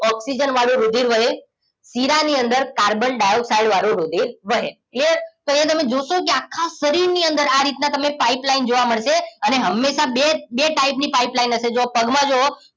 oxygen વાળું રુધિર વહે શીરા ની અંદર કાર્બન ડાઇઓક્સાઇડ વાળું રુધિર વહે ક્લિયર અહિયાં તમે જોશો આખા શરીર ની અંદર આરીતના તમે પાઇપલાઈન જોવા મળશે અને હમેસા બે જ ટાઇપ ની પઈપેલીને હશે જોવો પગમાં જુવો